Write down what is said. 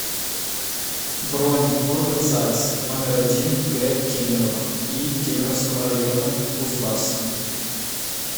бронь орган загс номер один г кемерово и кемеровского района кузбасса